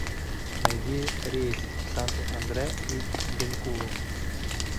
найди рейс в санту андре из бенкулу